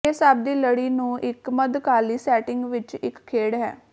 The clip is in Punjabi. ਇਹ ਸਭ ਦੀ ਲੜੀ ਨੂੰ ਇੱਕ ਮੱਧਕਾਲੀ ਸੈਟਿੰਗ ਵਿੱਚ ਇੱਕ ਖੇਡ ਹੈ